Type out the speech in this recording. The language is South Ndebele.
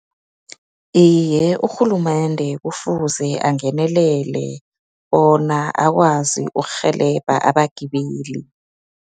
Iye, urhulumende kufuze angenelele, bona akwazi ukurhelebha abagibeli.